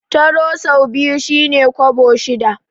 Taro sau biyu shi ne kwabo shida.